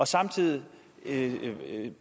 samtidig